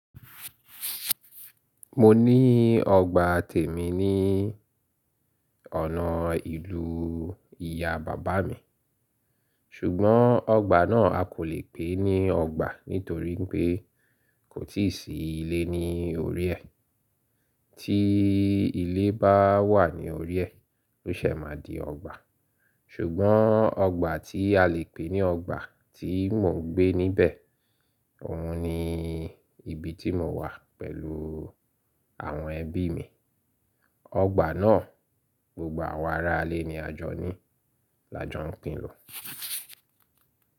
Mo ní ọgbà tèmi ní ọ̀nà ìlú ìyá bàbá mi. Ṣùgbọ́n ọgbà náà a kò lè pè ní ọgbà nítorí pé kò tí ì sí ilé ní orí ẹ. Tí ilé bá wà ní orí ẹ, ó ṣẹ̀ máa di ọgbà. Ṣùgbọ́n ọgbà tí a lè pè ní ọgbà tí mò ń gbé níbẹ̀, òhun ni ibi tí mo wà pẹ̀lú àwọn ẹbí mi. Ọgbà náà, gbogbo àwa ará lé ní a jọ ní, là jọ ń pín lò.